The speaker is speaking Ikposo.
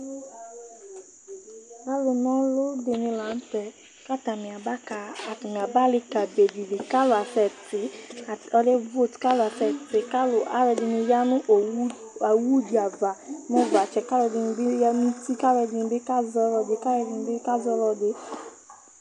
Alʋna ɔlʋ dini lanʋtɛ kʋ atani aba ali kika bedi li kʋ alʋ asɛti, kabe vot kʋ alʋ asɛtɩvkʋ alʋɛdini yanʋ awʋdi ava nʋ ʋvatsɛ kʋ alʋɛdini bi yanʋ uti kʋ alʋɛdini bi kazɛ ɔlʋɛdi